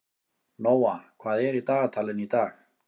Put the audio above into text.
Nóa, hvað er í dagatalinu í dag?